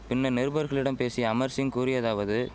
பின்னர் நிருபர்களிடம் பேசிய அமர்சிங் கூறியதாவது